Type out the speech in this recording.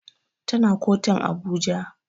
Tana kotun Abuja